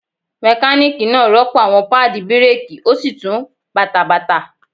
Mekaniki naa rọpo awọn paadi bireeki o si tun bata bata.